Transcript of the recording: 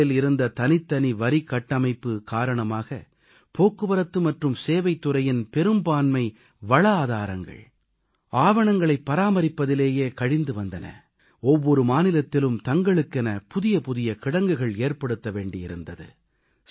முதலில் இருந்த தனித்தனி வரிக்கட்டமைப்பு காரணமாக போக்குவரத்து மற்றும் சேவைத் துறையின் பெரும்பான்மை வளஆதாரங்கள் ஆவணங்களைப் பராமரிப்பதிலேயே கழிந்து வந்தன ஒவ்வொரு மாநிலத்திலும் தங்களுக்கென புதிய புதிய கிடங்குகள் ஏற்படுத்த வேண்டியிருந்தது